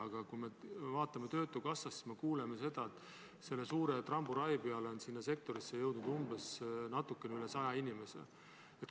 Aga kui me uurime töötukassa andmeid, siis me kuuleme, et selle suure tramburai peale on sinna sektorisse jõudnud natuke üle saja inimese.